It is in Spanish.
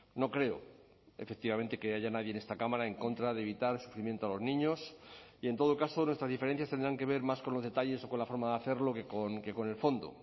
no creo efectivamente que haya nadie en esta cámara en contra de evitar el sufrimiento a los niños y en todo caso nuestras diferencias tendrán que ver más con los detalles o con la forma de hacerlo que con el fondo